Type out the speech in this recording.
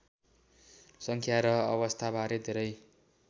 सङ्ख्या र अवस्थाबारे धेरै